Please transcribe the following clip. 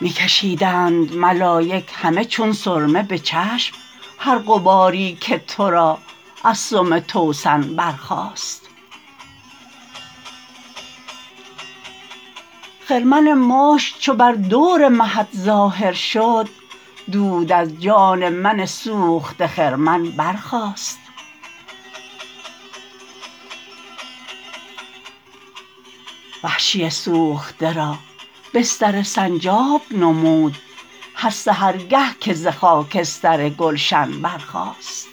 می کشیدند ملایک همه چون سرمه به چشم هر غباری که ترا از سم توسن برخاست خرمن مشک چو بر دور مهت ظاهر شد دود از جان من سوخته خرمن برخاست وحشی سوخته را بستر سنجاب نمود هر سحرگه که ز خاکستر گلشن برخاست